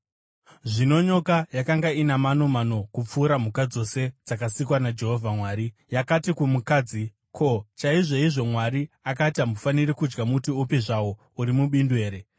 Zvino nyoka yakanga ina manomano kupfuura mhuka dzose dzakasikwa naJehovha Mwari. Yakati kumukadzi, “Ko, chaizvoizvo Mwari akati, ‘Hamufaniri kudya muti upi zvawo uri mubindu here’?”